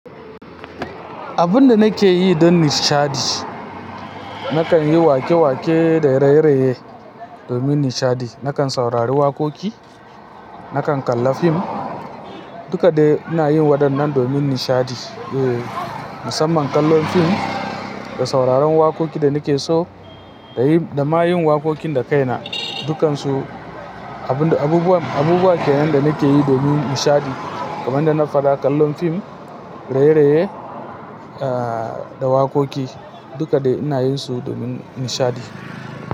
Abun da nake yi don nishadi, nakan yi wake-wake, da raye-raye, domin nishadi. Nakan saurari wakoki, nakan kalla fim, duka dai ina yin wadannan domin nishadi. Eh, musamman kallon fim, da sauraron wakokin da nake so, da yi, da ma yin wakokin da kaina. Dukansu, abun da, abubuwa, abubuwa kenan da nake yi domin nishadi. Kamar da na faɗa kallon fim, raye-raye, ah, da wakoki, duka dai ina yinsu domin nishadi.